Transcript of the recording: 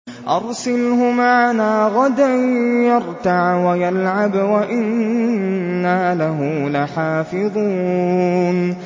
أَرْسِلْهُ مَعَنَا غَدًا يَرْتَعْ وَيَلْعَبْ وَإِنَّا لَهُ لَحَافِظُونَ